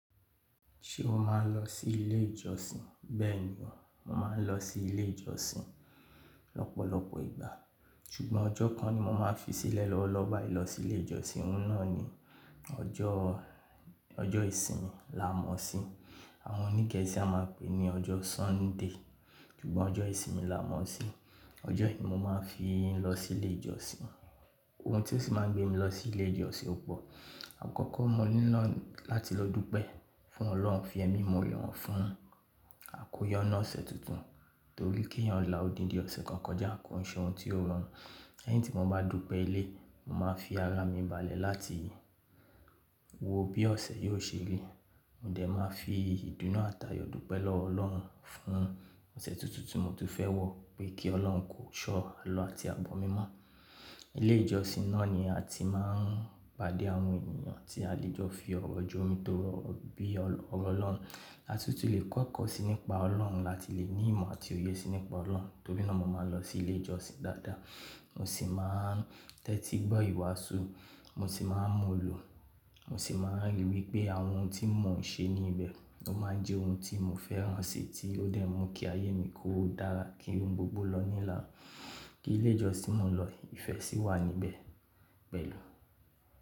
Ṣé o máa ń lọ sí ilé ìjọsìn? Bẹ́ẹ̀ ni, mo máa ń lọ sí ilé ìjọsìn lọ́pọ̀lọpọ̀ ìgbà, ṣùgbọ́n ọjọ́ kan ni mo máa ń fi sílẹ̀ lọ́wọ́lọ́wọ́ bá ìlọ sí ilé ìjọsìn. Ohun nàní ọjọ́ ìsinmi. Àwọn oní Gẹ́ẹ́sì a máa pè é ní ọjọ́ Sunday, ṣùgbọ́n ọjọ́ ìsinmi làámọ̀sí. Ọjọ́ yìí mo máa ń fi lọ sí ilé ìjọsìn. Ohun tí ó sì máa ń gbé mi lọ sí ilé ìjọsìn ò pọ̀. Àkọ́kọ́ mo nílò láti lọ dúpẹ́ fún Ọlọ́run fi ẹmi ìmóore hàn fún àkójọ nínú ọ̀sẹ̀ tuntun, torí kí èèyàn là odindi ọ̀sẹ̀ kan kọjá, kòun ṣe ohun tí yóò rọrùn. Lẹ́yìn tí mo bá dúpẹ́ ilé, mo máa ń fi ara mi balẹ̀ láti wo bí ọ̀sẹ̀ yóò ṣe rí. Mo dè máa ń fi ìdùnú àti ayọ̀ dúpẹ́ lọ́wọ́ ọlọ́run fún ọ̀sẹ̀ tuntun tí mo tún fẹ́ wò pé kí ọlọ́run kí ó sọ àlọ́ àti abọ̀ mi mọ́. Ilé ìjọsìn náà ni a ti máa ń pàdé àwọn ènìyàn tí a lè jọ fi ọ̀rọ̀ jó mi tọrọ bí ọ̀rọ̀ Ọlọ́run. Láti tún lè kọ́ ẹ̀kọ́ síi ní pa Ọlọ́run, láti lè ní ìmọ̀ àti òye sí ní pa Ọlọ́run. Torí náà mo máa ń lọ sí ilé ìjọsìn dáadáa. Mo sì máa ń tẹ́tí gbọ́ ìwàásù, mo sì máa ń múlò. Mo sì máa ń ríi wípé àwọn ohun tí mo n ṣe ní ibẹ̀, ó máa ń jẹ́ ohun tí mo fẹ́ràn si, tí ó dẹ̀ mú kí ayé mi kó dára, kí ohun gbogbo lọ nílànà, kí ilé ìjọsìn mo lọ, ìfẹ́ sì wà níbẹ̀ pẹ̀lú.